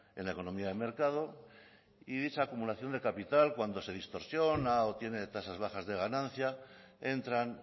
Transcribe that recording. en la economía de mercado y dicha acumulación de capital cuando se distorsiona o tiene tasas bajas de ganancia entran